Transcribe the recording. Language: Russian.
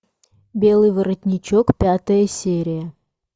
белый воротничок пятая серия